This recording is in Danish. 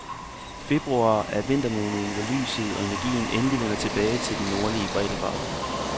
Februar er vintermåneden, hvor lyset og energien endelig vender tilbage til de nordlige breddegrader.